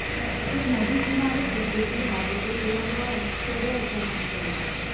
તે નદી કિનારે કુદરતી હાજતે ગયો હોય ત્યારે અચાનક પડી